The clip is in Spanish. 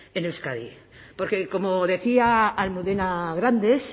en euskadi porque como decía almudena grandes